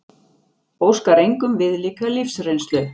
Óskar engum viðlíka lífsreynslu